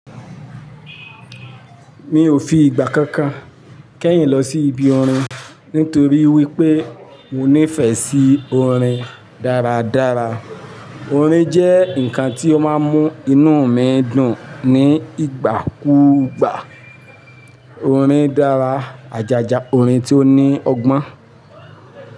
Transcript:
Mi ò fi ìgbà kankan kẹ́yìn lọ sí ibi orin nítorí wípé mo nífẹ̀ẹ́ sí orin dáradára. Orin jẹ́ ǹnkan tí ó máa ń mú inú mi dùn ní ìgbà kúùgbà. Orin dára, àjàjà orin tí ó ní ọgbọ́n.